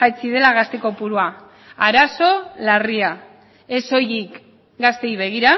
jaitsi dela gazte kopurua arazo larria ez soilik gazteei begira